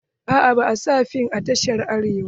Aa ba a sa fim a tashar Arewa ba.